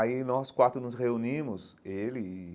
Aí nós quatro nos reunimos, ele e...